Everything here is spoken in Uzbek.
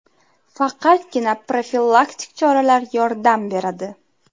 Faqatgina profilaktik choralar yordam beradi.